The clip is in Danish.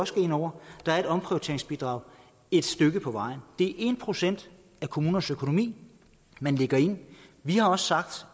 skal ind over er omprioriteringsbidraget et stykke på vejen det er en procent af kommunernes økonomi man lægger ind vi har også sagt